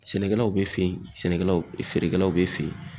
Sɛnɛkɛlaw b'e fe yen sɛnɛkɛlaw e feerekɛlaw b'e fe yen